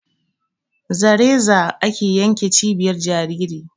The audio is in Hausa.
Za reza ake yanke cibiyar jajiri